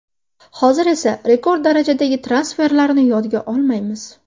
Hozir esa rekord darajadagi transferlarni yodga olmaymiz.